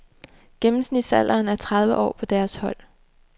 Gennemsnitsalderen er tredive år på deres hold.